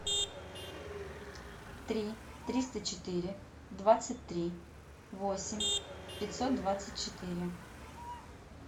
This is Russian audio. три триста четыре двадцать три восемь пятьсот двадцать четыре